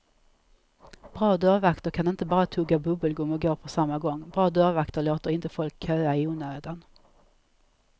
Bra dörrvakter kan inte bara tugga bubbelgum och gå på samma gång, bra dörrvakter låter inte folk köa i onödan.